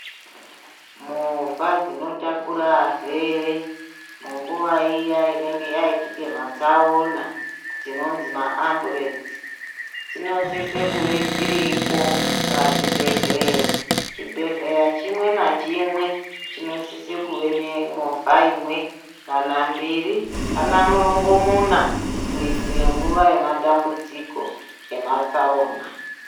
Movha dzinotakure arwere munguva iya inenge yaitike matsaona dzinonzi maambulenzi, dzinosise kuve dziripo pazvibhedhleya. Chibhedhlera chimwe ngachimwe chinosise kuve ngemovha imwe kana mbiri kana murongomuna kuitire nguva yematambudziko ematsaona.